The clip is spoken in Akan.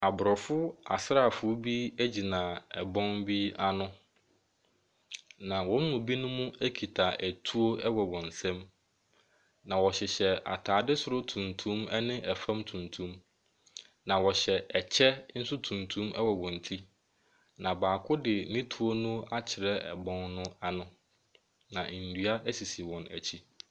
Aborɔfo asraafoɔ bi gyina ɛbɔn bi ano, na wɔn mu binom kita atuo wɔ wɔn nsam. Na wɔhyehyɛ atadeɛ soro tuntum ne fam tuntum. Na wɔhyɛ ɛkyɛ nso tuntum wɔ wɔn ti, na baako de ne tuo akyerɛ ɛbɔn no ano, na nnua sisi wɔn akyi.